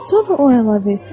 Sonra o əlavə etdi.